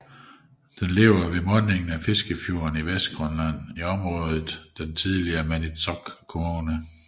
Den er beliggende ved mundingen af Fiskefjorden i Vestgrønland i området for den tidligere Maniitsoq Kommune